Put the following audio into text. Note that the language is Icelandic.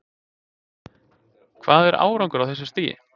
Hvað er árangur á þessu stigi?